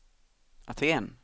Aten